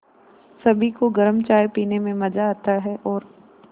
सभी को गरम चाय पीने में मज़ा आता है और